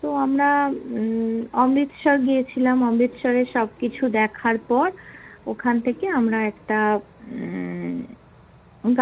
তো আমরা উম অমৃতসর গিয়েছিলাম, অমৃতসরের সবকিছু দেখার পর ওখান থেকে আমরা একটা উম